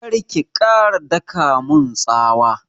Kar ki ƙara daƙa mun tsawa!